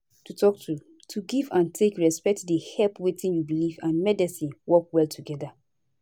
to talk truth to give and take respect dey help wetin u belief and medicine work well together